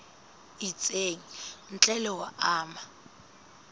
itseng ntle le ho ama